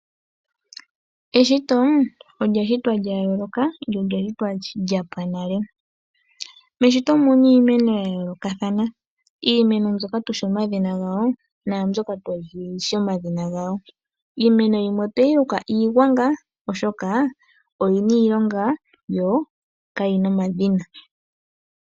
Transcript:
Eshito olya shitwa lyoyooloka nolya shitwa lyapwa nale. Meshito omuna iimeno yayoolokathana, iimeno mbyoka tushi omadhina gawo naambyoka twaashi omadhina gawo. Iimeno yimwe otweyi luka iigwanga oshoka oyina iilonga yokayina omadhina.